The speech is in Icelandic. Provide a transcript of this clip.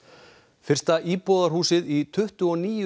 fyrsta íbúðarhúsið í tuttugu og níu